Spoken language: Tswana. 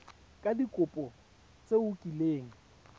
ka dikopo tse o kileng